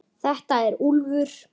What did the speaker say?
Þetta er Úlfur.